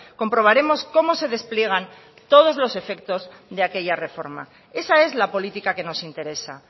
comprobaremos cómo se despliegan todos los efectos de aquella reforma esa es la política que nos interesa